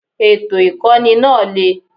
Ètò Ìkọ́ni náà le.